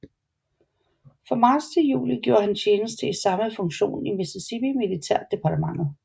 Fra marts til juli gjorde han tjeneste i samme funktion i Mississippi militærdepartementet